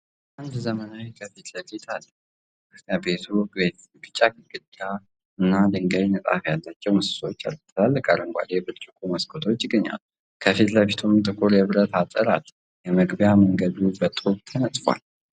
አንድ ዘመናዊ ከፊት ለፊት አለ። ቤቱ ቢጫ ግድግዳዎች እና የድንጋይ ንጣፍ ያላቸው ምሰሶዎች አሉት። ትላልቅ አረንጓዴ ብርጭቆ መስኮቶች ይገኛሉ፤ ከፊት ለፊቱም ጥቁር የብረት አጥር አለ። የመግቢያው መንገድ በጡብ ተነጥፏል።